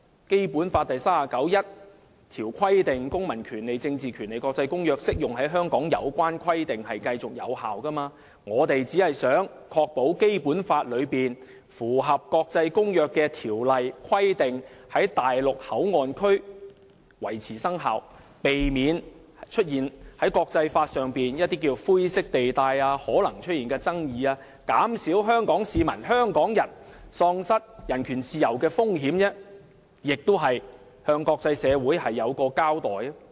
《基本法》第三十九條訂明"《公民權利和政治權利國際公約》......適用於香港的有關規定繼續有效"。因此，我們只想確保《基本法》內有關繼續履行國際公約條文的規定，在內地口岸區維持生效，避免在國際法上出現一些灰色地帶和可能出現的爭議，減少香港市民喪失人權自由的風險，亦是向國際社會作出交代。